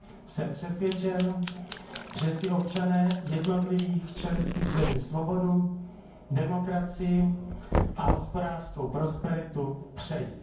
Jsem přesvědčen, že si občané jednotlivých členských zemí svobodu, demokracii a hospodářskou prosperitu přejí.